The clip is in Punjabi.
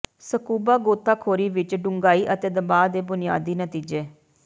ਸਕੂਬਾ ਗੋਤਾਖੋਰੀ ਵਿਚ ਡੂੰਘਾਈ ਅਤੇ ਦਬਾਅ ਦੇ ਬੁਨਿਆਦੀ ਨਤੀਜੇ